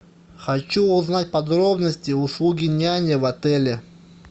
хочу узнать подробности услуги няни в отеле